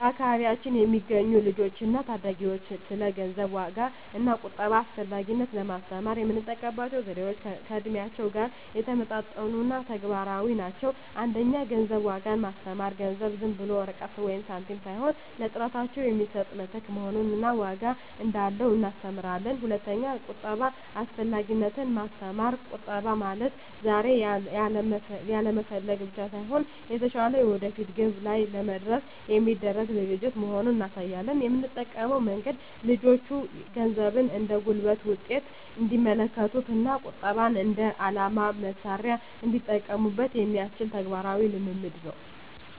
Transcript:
በአካባቢያችን ለሚገኙ ልጆች እና ታዳጊዎች ስለ ገንዘብ ዋጋ እና ቁጠባ አስፈላጊነት ለማስተማር የምንጠቀምባቸው ዘዴዎች ከእድሜያቸው ጋር የሚመጣጠኑ እና ተግባራዊ ናቸው። 1) የገንዘብ ዋጋን ማስተማር ገንዘብ ዝም ብሎ ወረቀት ወይም ሳንቲም ሳይሆን ለጥረታቸው የሚሰጥ ምትክ መሆኑን እና ዋጋ እንዳለው እናስተምራለን። 2)የቁጠባ አስፈላጊነትን ማስተማር ቁጠባ ማለት ዛሬ ያለመፈለግ ብቻ ሳይሆን፣ የተሻለ የወደፊት ግብ ላይ ለመድረስ የሚደረግ ዝግጅት መሆኑን እናሳያለን። የምንጠቀመው መንገድ ልጆቹ ገንዘብን እንደ ጉልበት ውጤት እንዲመለከቱት እና ቁጠባን እንደ የዓላማ መሣሪያ እንዲጠቀሙበት የሚያስችል ተግባራዊ ልምምድ ነው።